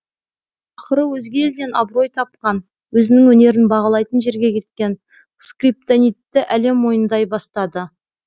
ақыры өзге елден абырой тапқан өзінің өнерін бағалайтын жерге кеткен скриптонитті әлем мойындай бастады